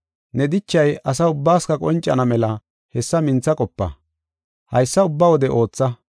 Ne dichay asa ubbaas qoncana mela hessa mintha qopa; haysa ubba wode ootha.